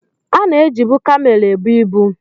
Ana ejibụ kamel ebụ ịbu